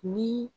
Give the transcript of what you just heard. Ni